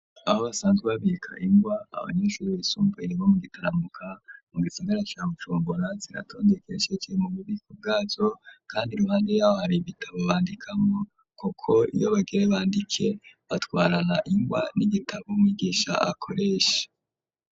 Aho basanzwe babika ingwa abanyeshuri bisumbuye bo mu Gitaramuka, mu gisagara ca Bujumbura, ziratondekesheje mu bubiko bwazo, kandi iruhande ya ho hari ibitabo bandikamwo, kuko iyo bagira bandike, batwarana ingwa n'igitabo umwigisha akoresha.